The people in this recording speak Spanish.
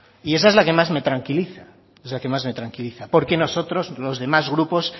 y esa es la que más me tranquiliza es la que más me tranquiliza porque nosotros los demás grupos